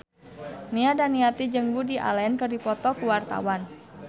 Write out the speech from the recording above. Nia Daniati jeung Woody Allen keur dipoto ku wartawan